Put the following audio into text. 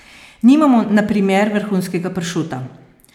Nimamo, na primer, vrhunskega pršuta?